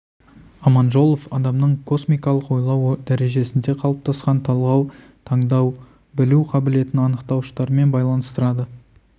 аманжолов адамның космикалық ойлау дәрежесінде қалыптасқан талғау таңдай білу қабілетін анықтауыштармен байланыстырады